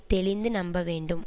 தெளிந்து நம்ப வேண்டும்